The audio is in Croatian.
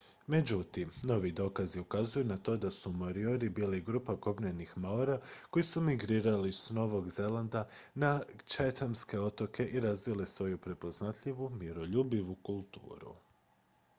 međutim novi dokazi ukazuju na to da su moriori bili grupa kopnenih maora koji su migrirali s novog zelanda na chathamske otoke i razvili svoju prepoznatljivu miroljubivu kulturu